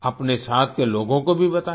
अपने साथ के लोगों को भी बताएं